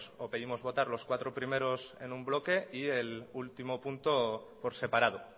o pedimos votar los cuatro primeros en un bloque y el último punto por separado